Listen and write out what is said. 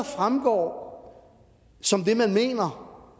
fremgår som